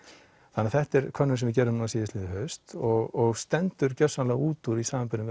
þetta er könnun sem við gerðum síðastliðið haust og stendur gjörsamlega út úr í samanburði við